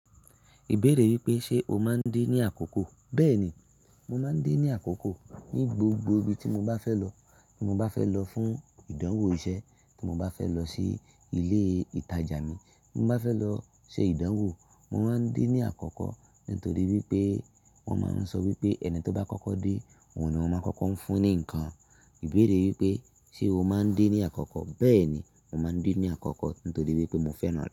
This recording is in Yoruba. Ìbéèrè wípé ṣe o máa ń de ní àkoko? Bẹ́ẹ̀ni, mo máa ń de ní àkoko ní gbogbo ibi tí mo bá fẹ́ lọ. Tí mo bá fẹ́ lọ fún ìdánwò iṣẹ́, tí mo bá fẹ́ lọ sí ilé ìtajà mi, tí mo bá fẹ́ lọ ṣe ìdánwò, mo máa ń de ní àkọ́kọ́. Nítorí wípé wọ́n máa ń sọ wípé "ẹni tó bá kọ́kọ́ dé, òun ni wón máa kọ́kọ́ ń fún ní ǹkan". Ìbéèrè wípé ṣe o máa ń de ní àkọ́kọ́? Bẹ́ẹ̀ni, mo máa ń díní àkọ́kọ́ nítorí wípé mo fẹ́ràn rẹ̀.